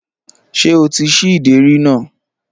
Ṣé o ti ṣí ìdérí náà?